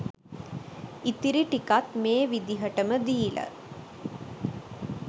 ඉතිරි ටිකත් මේ විදිහට ම දීල